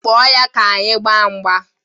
Kpọọ ya ka anyị gbaa mgba!